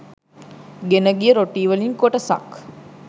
ගෙනගිය රොටී වලින් කොටසක්